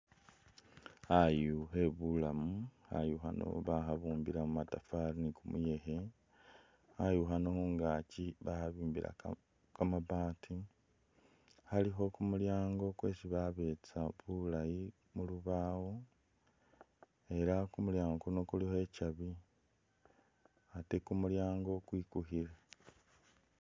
Khayu khe bulamu, khayu khano bakhabumbila mu matafari ni kumuyekhe, khayu khano khungaki bakhabimbila kamabaati, khalikho kumulyango kwesi babetsa bulayi mu lubawo ela kumulyaango kuno ikyabi ate kumulyaango kwikukhile.